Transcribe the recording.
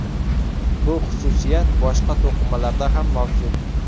Bu xususiyat boshqa to‘qimalarda ham mavjud.